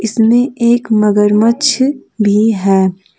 इसमें एक मगरमच्छ भी है।